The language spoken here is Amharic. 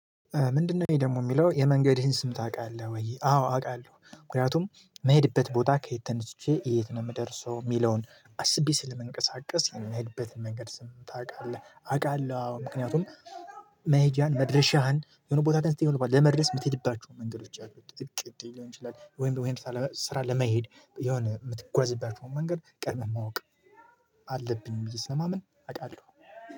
ምንድነው ይሄ ደግሞ የሚለው የመንገድህን ስም ታቃለህ ወይ? አዎ አቃለሁ ምክንያቱም ምሄድበት ቦታ ከየት ተነስቼ የት ነው ምደርሰው ሚለውን አስቤ ስለምንቀሳቀስ የምሄድበትን መንገድ ስም ታውቃለህ? አውቃለሁ ምክንያቱም መሄጃህን መድረሻህን የሆነ ቦታ ጋር ስትሄድ ለመድረስ የምትሄድባቸው መንገዶች እቅድ ሊሆን ይችላል። ወይም ወይም ስራ ለመሄድ የሆነ የምትጓዝበት መንገድ ቀድመህ ማወቅ አለብኝ ብዬ ስለማምን አውቃለሁ።